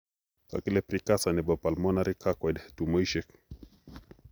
Kikele precursor nebo pulmonary carcoid tumoisiek